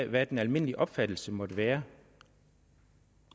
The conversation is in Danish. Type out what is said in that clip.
hvad den almindelige opfattelse måtte være